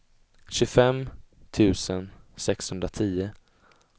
tjugofem tusen sexhundratio